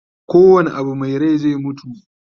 ko wane Abu Mai Rai zai mutu